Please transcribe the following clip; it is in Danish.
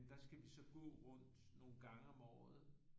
Der skal vi så gå rundt nogle gange om året